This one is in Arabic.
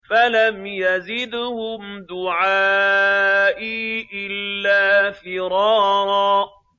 فَلَمْ يَزِدْهُمْ دُعَائِي إِلَّا فِرَارًا